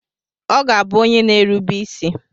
Ọ ga-abụ onye na-erube isi.